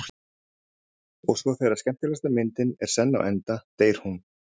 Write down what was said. Og svo þegar skemmtilegasta myndin er senn á enda deyr hún.